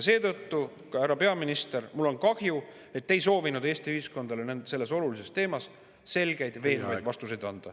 Seetõttu, härra peaminister, mul on kahju, et te ei soovinud Eesti ühiskonnale selles olulises teemas selgeid veenvaid vastuseid anda.